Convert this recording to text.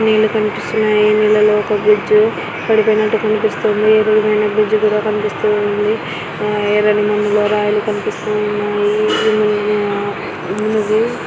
నీళ్లు కనిపిస్తున్నాయి. నీళ్లలో ఒక బ్రిడ్జ్ పడిపోయినట్టు కనిపిస్తుంది. విరిగిపోయిన బ్రిడ్జ్ కూడా కనిపిస్తుంది. ఎర్రని మన్నులో రాళ్లు కనిపిస్తున్నాయి. ఉంది.